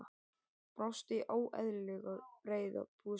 Brosti óeðlilega breiðu brosi.